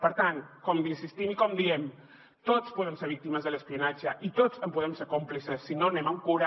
per tant com insistim i com diem tots podem ser víctimes de l’espionatge i tots en podem ser còmplices si no anem amb cura